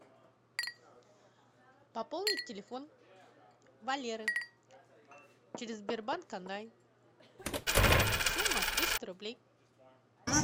пополнить телефон валеры через сбербанк онлайн сумма триста рублей